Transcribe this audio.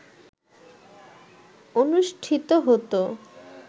অনুষ্ঠিত হত